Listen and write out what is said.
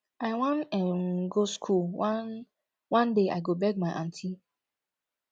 i wan um go school one one day i go beg my aunty